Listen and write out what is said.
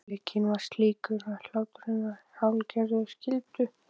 Ömurleikinn var slíkur að hláturinn varð að hálfgerðri skyldu.